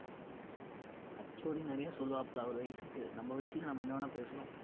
HOD நிறையா சொல்லுவாப்பல அவர் வயசுக்கு நம்ம வயசுக்கு நம்ம என்ன வேணா பேசணும்